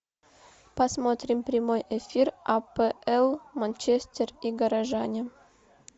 посмотрим прямой эфир апл манчестер и горожане